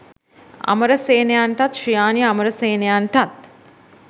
අමරසේනයන්ටත් Sriyani අමරසේනයන්ටත්